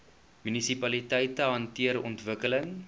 munisipaliteite hanteer ontwikkeling